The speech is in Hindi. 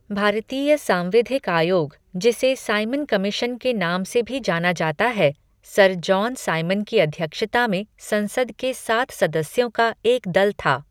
भारतीय सांविधिक आयोग, जिसे साइमन कमीशन के नाम से भी जाना जाता है, सर जॉन साइमन की अध्यक्षता में संसद के सात सदस्यों का एक दल था।